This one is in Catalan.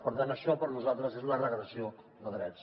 per tant això per nosaltres és la regressió de drets